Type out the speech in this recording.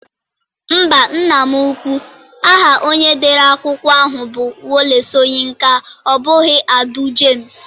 Mba nna m ukwu, aha onye dere akwụkwọ ahụ bụ Wole Soyinka ọ bụghị Audu James.